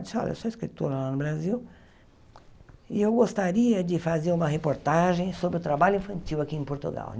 Disse, olha, sou escritora lá no Brasil e eu gostaria de fazer uma reportagem sobre o trabalho infantil aqui em Portugal.